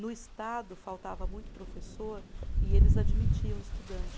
No Estado, faltava muito professor e eles admitiam estudante.